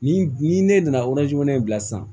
Ni ni ne nana in bila sisan